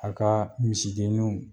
A kaa misidenninw